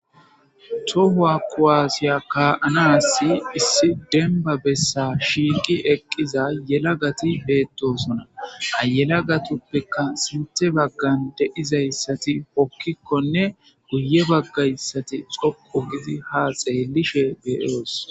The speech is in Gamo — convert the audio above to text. Tohuwa kuwaasiya ka7anassi issi demba bessa shiiqi eqqiza yelagati beettosona ayelagatuppeka sinte baggan deizayssati pokkikkonne guye baggayssati xokko gidi ha xeelishe beyoos